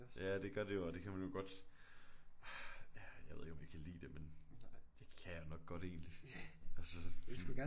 Ja det gør det jo og det kan man jo godt ja jeg ved ikke om vi kan lide det men det kan jeg nok godt egentligt altså så